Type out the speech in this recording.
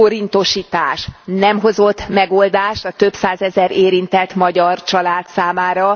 forintosítás nem hozott megoldást a több százezer érintett magyar család számára?